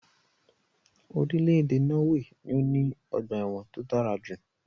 Irílèdè Norway ni o ní ogbà èwòn to dárajù